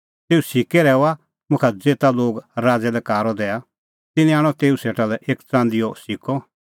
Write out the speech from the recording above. तेऊ सिक्कै रहैऊआ मुखा ज़ेता लोग राज़ै लै कारअ दैआ तिन्नैं आणअ तेऊ सेटा एक च़ंदीओ सिक्कअ